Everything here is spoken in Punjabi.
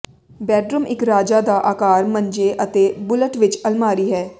ਬੈੱਡਰੂਮ ਇੱਕ ਰਾਜਾ ਦਾ ਆਕਾਰ ਮੰਜੇ ਅਤੇ ਬੁਲਟ ਵਿੱਚ ਅਲਮਾਰੀ ਹੈ